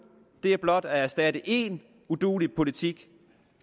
er blot at erstatte én uduelig politik